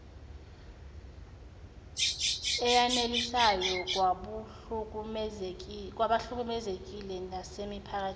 eyanelisayo kwabahlukumezekile nasemiphakathini